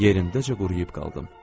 Yerindəcə quruyub qaldım.